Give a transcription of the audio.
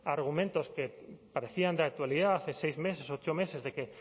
argumentos que parecían de actualidad hace seis meses ocho meses de que